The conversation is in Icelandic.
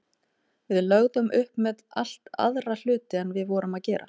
Við lögðum upp með allt aðra hluti en við vorum að gera.